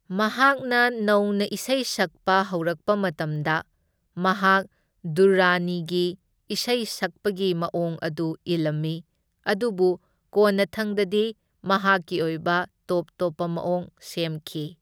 ꯃꯍꯥꯛꯅ ꯅꯧꯅ ꯏꯁꯩ ꯁꯛꯄ ꯍꯧꯔꯛꯄ ꯃꯇꯝꯗ, ꯃꯍꯥꯛ ꯗꯨꯔꯔꯥꯅꯤꯒꯤ ꯏꯁꯩ ꯁꯛꯄꯒꯤ ꯃꯑꯣꯡ ꯑꯗꯨ ꯏꯂꯝꯃꯤ, ꯑꯗꯨꯕꯨ ꯀꯣꯟꯅꯊꯪꯗꯗꯤ ꯃꯍꯥꯛꯀꯤ ꯑꯣꯏꯕ ꯇꯣꯞ ꯇꯧꯞꯄ ꯃꯑꯣꯡ ꯁꯦꯝꯈꯤ꯫